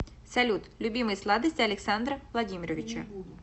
салют любимые сладости александра владимировича